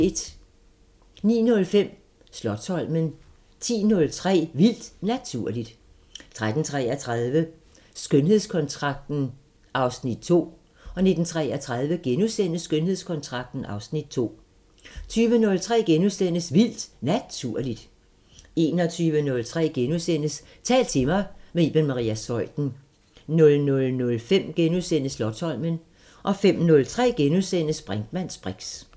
09:05: Slotsholmen 10:03: Vildt Naturligt 13:33: Skønhedskontrakten (Afs. 2) 19:33: Skønhedskontrakten (Afs. 2)* 20:03: Vildt Naturligt * 21:03: Tal til mig – med Iben Maria Zeuthen * 00:05: Slotsholmen * 05:03: Brinkmanns briks *